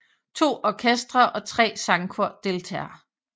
To orkestre og tre sangkor deltager